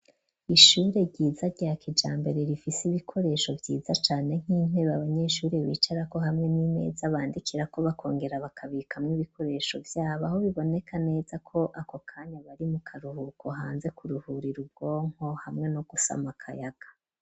Ishure ryiza ryakijambere rifise ibikoresho vyiza cane nk'intebe abanyeshuri bicara ko hamwe n'imeza bandikira ko bakongera bakabika mw'ibikoresho vyabo aho biboneka neza ko ako kanya bari mu karuhuko hanze kuruhura ira ubwonko hamwe no gusama akayaga.